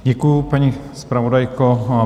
Děkuji, paní zpravodajko.